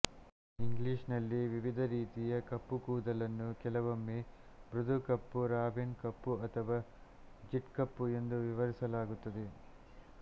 ಇಂಗ್ಲಿಷ್ನಲ್ಲಿ ವಿವಿಧ ರೀತಿಯ ಕಪ್ಪು ಕೂದಲನ್ನು ಕೆಲವೊಮ್ಮೆ ಮೃದುಕಪ್ಪು ರಾವೆನ್ ಕಪ್ಪು ಅಥವಾ ಜೆಟ್ಕಪ್ಪು ಎಂದು ವಿವರಿಸಲಾಗುತ್ತದೆ